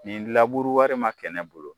Nin laburu wari ma kɛ ne bolo